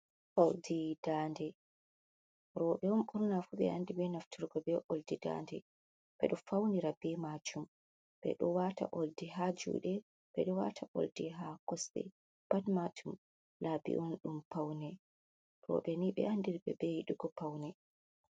Oldi dade roɓe on ɓurna fu ɓe andi be nafturgo be oldi dade, ɓeɗo faunira be majum ɓeɗo wata oldi ha juɗe ɓeɗo wata oldi ha kosɗe, pat majum labinon ɗum paune roɓe ni ɓe andiriɓe be yidugo paune.